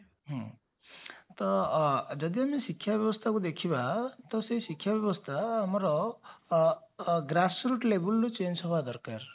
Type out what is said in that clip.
ହଁ ତ ଅ ଯଦି ଆମେ ଶିକ୍ଷା ବ୍ୟବସ୍ଥା କୁ ଦେଖିବା ତ ସେଇ ଶିକ୍ଷା ବ୍ୟବସ୍ଥା ଆମର grass root levelରୁ change ହେବା ଦରକାର